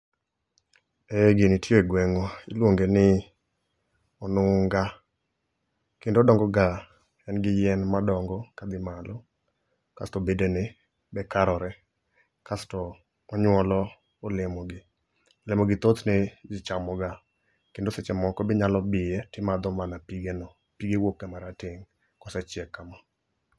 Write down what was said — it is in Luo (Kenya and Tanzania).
Eeeh gini tii e gweng iluonge ni onunga kendo odongo ga en gi yie ma dongo kodhi malo kasto bedene be karore kasto onyuolo olemo gi ,olemogi thothne jii chamoga kendo seche moko be inyalo biye timadho mana pigeno, pige wuok ga marateng kosechiek kama